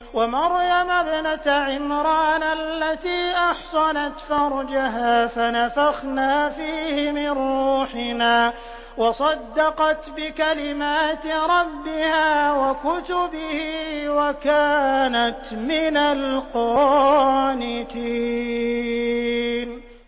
وَمَرْيَمَ ابْنَتَ عِمْرَانَ الَّتِي أَحْصَنَتْ فَرْجَهَا فَنَفَخْنَا فِيهِ مِن رُّوحِنَا وَصَدَّقَتْ بِكَلِمَاتِ رَبِّهَا وَكُتُبِهِ وَكَانَتْ مِنَ الْقَانِتِينَ